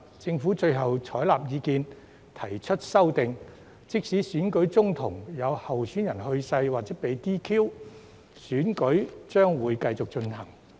政府最後採納意見，提出修訂，訂明即使選舉中途有候選人去世或被 "DQ"， 選舉將會繼續進行。